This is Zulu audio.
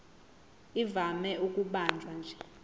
ivame ukubanjwa nje